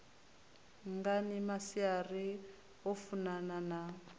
ngani maria o funana na